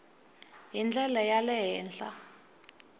hi ndlela ya le henhla